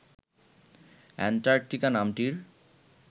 Antarctica নামটির